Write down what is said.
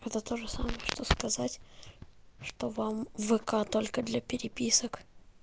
это тоже самое что сказать что вам в к только для переписок